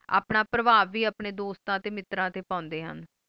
ਆਪਣਾ ਫਾਰ੍ਵਵ ਵੇ ਆਪਣੇ ਦੋਸਤਾਂ ਤੇ ਮਿੱਤਰਾਂ ਤੇ ਪਾਂਡੇ ਹਨ